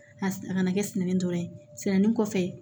A a kana kɛ sɛnɛni dɔrɔn ye sɛnɛni kɔfɛ